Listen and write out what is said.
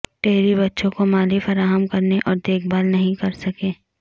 Terry بچوں کو مالی فراہم کرنے اور دیکھ بھال نہیں کر سکے